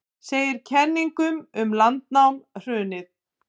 Segir kenningum um landnám hrundið